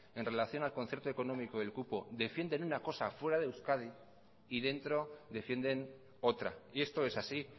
en relación al concierto económico y el cupo defienden una cosa fuera de euskadi y dentro defienden otra y esto es así